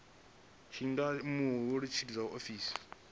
tshi nga humela murahu zwiṱuku